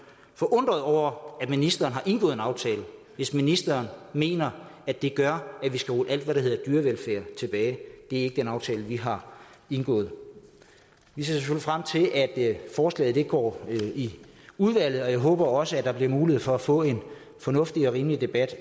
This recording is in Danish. forundrede over at ministeren har indgået en aftale hvis ministeren mener at det gør at vi skal rulle alt hvad der hedder dyrevelfærd tilbage det er ikke den aftale vi har indgået vi ser selvfølgelig frem til at forslaget går i udvalget og jeg håber også at der bliver mulighed for at få en fornuftig og rimelig debat